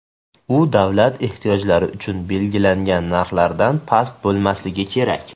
U davlat ehtiyojlari uchun belgilangan narxlardan past bo‘lmasligi kerak.